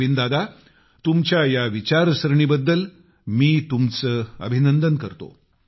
नवीन दादा तुमच्या ह्या विचारसरणीबद्दल मी तुमचे अभिनंदन करतो